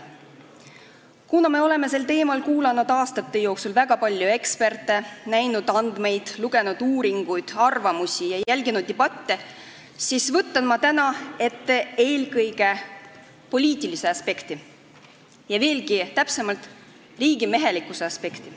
Kuna me oleme sel teemal kuulnud aastate jooksul väga palju eksperte, näinud andmeid, lugenud uuringuid ja arvamusi ning jälginud debatte, siis võtan ma täna ette eelkõige poliitilise aspekti, veelgi täpsemalt öeldes riigimehelikkuse aspekti.